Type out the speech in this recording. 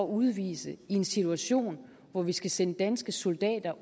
udvise i en situation hvor vi skal sende danske soldater